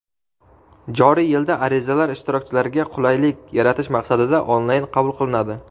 joriy yilda arizalar ishtirokchilarga qulaylik yaratish maqsadida onlayn qabul qilinadi.